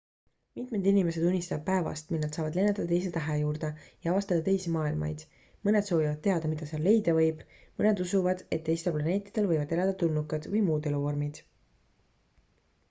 mitmed inimesed unistavad päevast mil nad saavad lennata teise tähe juurde ja avastada teisi maailmaid mõned soovivad teada mida seal leida võib mõned usuvad et teistel planeetidel võivad elada tulnukad või muud eluvormid